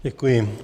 Děkuji.